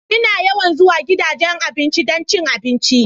Ina yawan zuwa gidajen abinci don cin abinci.